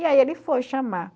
E aí ele foi chamar.